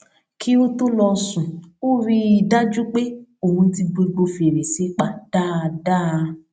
kí ó tó lọ sùn ó rí i dájú pé òun ti gbogbo fèrèsé pa dáadáa